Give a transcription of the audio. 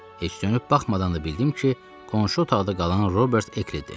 Heç dönüb baxmadan da bildim ki, qonşu otaqda qalan Robert Ekli idi.